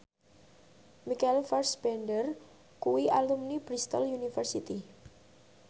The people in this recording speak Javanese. Michael Fassbender kuwi alumni Bristol university